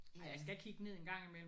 Men